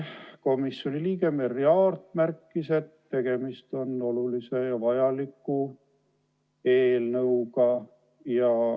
Komisjoni liige Merry Aart märkis, et tegemist on olulise ja vajaliku eelnõuga.